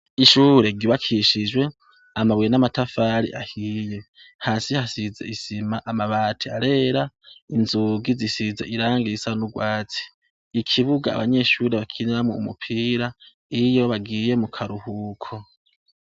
Ishure ryubakishijwe amabuye n'amatafari ahiye hasi hasize isima amabati arera inzugi zisize irangi risa nurwatsi ikibuga abanyeshure bakiniramwo umupira nkiyo bagiye mukaruhuko.